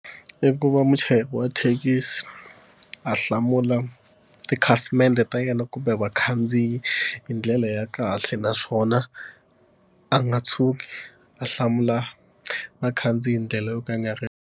I ku va muchayeri wa thekisi a hlamula tikhasimende ta yena kumbe vakhandziyi hi ndlela ya kahle naswona a nga tshuki a hlamula vakhandziyi ndlela yo ka yi nga ri.